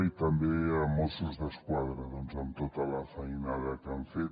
i també de mossos d’esquadra amb tota la feinada que han fet